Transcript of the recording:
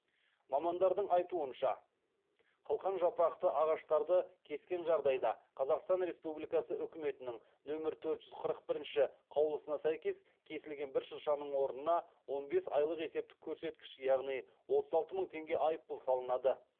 мамандардың айтуынша қылқанжапырақты ағаштарды кескен жағдайда қазақстан республикасы үкіметінің нөмір төрт жүз қырық бірінші қаулысына сәйкес кесілген бір шыршаның орнына он бес айлық есептік көрсеткіш яғни отыз алты мың теңге айыппұл салынады